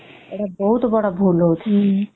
ଏଇଟା ବହୁତ ବଡ ଭୁଲ ହଉଛି